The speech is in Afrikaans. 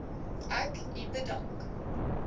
ek u bedank